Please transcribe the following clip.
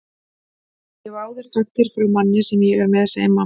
Ég hef áður sagt þér frá manni sem ég er með, segir mamma.